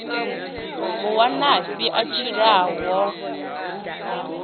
mu wanafhi a tshilaho ha